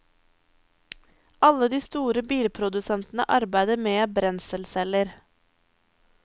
Alle de store bilprodusentene arbeider med brenselceller.